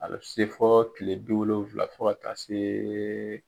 A bɛ se fɔ kile bi wolonfila fɔ ka taa seee.